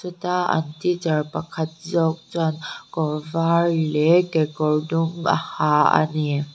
heta an teacher pakhat zawk chuan kawr var leh kekawr dum a ha ani.